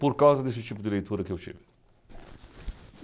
Por causa desse tipo de leitura que eu tive.